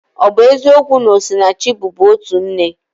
Ọ bụ eziokwu na Osinachi bubu otu nne?